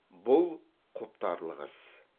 бұл құптарлық іс